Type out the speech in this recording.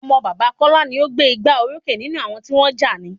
Ọmọ bàbá Kọla ni o gbé gbá orókè nínú àwọn tí wọ́n jà ní